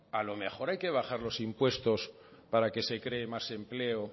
a lo mejor hay que bajar los impuestos para que se cree más empleo